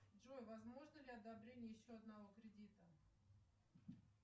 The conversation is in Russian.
джой возможно ли одобрение еще одного кредита